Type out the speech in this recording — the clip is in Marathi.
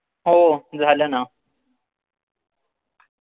हो झालं ना